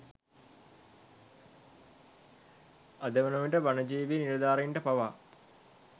අද වන විට වනජීවී නිලධාරීන්ට පවා